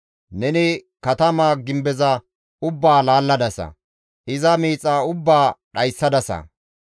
Neni katamaa gimbeza ubbaa laalladasa; iza miixa ubbaa dhayssadasa.